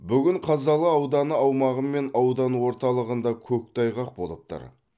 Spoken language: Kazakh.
бүгін қазалы ауданы аумағы мен аудан орталығында көктайғақ болып тұр